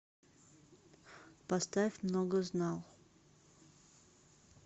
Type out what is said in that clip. поставь многознал